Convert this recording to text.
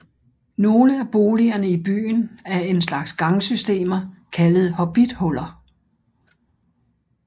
Nogle af boligerne i byen er en slags gangsystemer kaldet hobbithuller